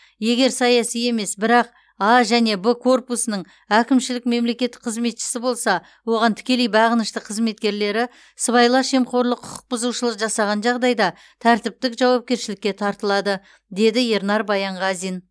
егер саяси емес бірақ а және б корпусының әкімшілік мемлекеттік қызметшісі болса оған тікелей бағынышты қызметкерлері сыбайлас жемқорлық құқық бұзушылық жасаған жағдайда тәртіптік жауапкершілікке тартылады деді ернар баянғазин